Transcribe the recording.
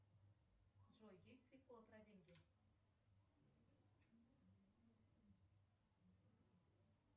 джой есть прикол про деньги